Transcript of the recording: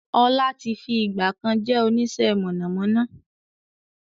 Ọlá tí fi ìgbàkan jẹ́ onisẹ́ mọ̀nàmọ́ná